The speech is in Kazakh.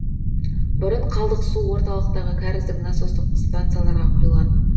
бұрын қалдық су орталықтағы кәріздік насостық станцияларға құйылатын